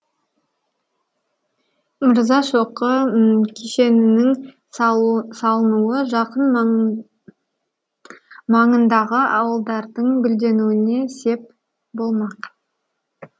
мырзашоқы кешенінің салынуы жақын маңындағы ауылдардың гүлденуіне сеп болмақ